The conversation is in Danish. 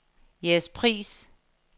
Jægerspris